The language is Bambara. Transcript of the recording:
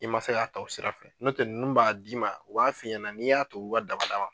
I man se k'a ta u sira fɛ n'o tɛ ninnu b'a d'i ma u b'a f'i ɲɛna n'i y'a to u ka daba da ma.